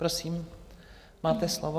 Prosím, máte slovo.